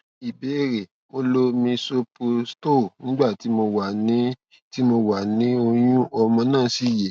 ìbéèrè mo lo misoprostol nígbà tí mo wà tí mo wà ni oyun ọmọ náà sì yè